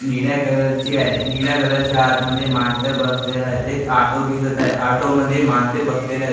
निळ्या कलर ची आहे निळ्या कलर च्या आत मध्ये माणसं बसलेलं आहेत एक ऑटो दिसत आहे ऑटो मध्ये माणसं बसलेले आहेत.